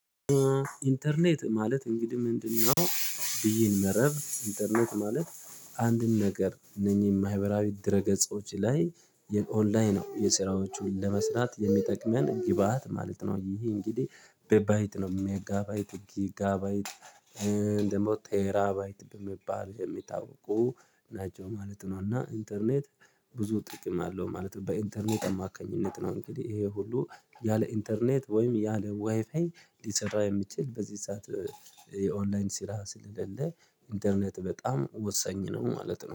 ኢንተርኔት ማለት እንግዲህ ምንድነው? ብይን መረብ ኢንተርኔት ማለት አንድን ነገር እነኚህ ማህበራዊ ድረ ገጾች ላይ የኦንላይን የስራዎቹን ለመስራት የሚጠቅመን ግብአት ማለት ነው። ይሄ እንግዲህ በባይት ነው ሜጋባይት ጊጋባይት ደግሞ ቴራባይት በመባል የሚታወቁ ናቸው ማለት ነው። እና ኢንተርኔት ብዙ ጥቅም አለው። ማለት በኢንተርኔት አማካኝነት ነው እንግዲህ ይሄ ሁሉ ያለ ኢንተርኔት ወይም ያለ ዋይፋይ ሊሰራ የሚችል በዚህ ሰዓት የኦንላይን ስራ ስለሌለ። ኢንተርኔት በጣም ወሳኝ ነው ማለት ነው